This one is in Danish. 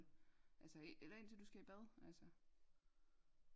Altså eller indtil du skal i bad altså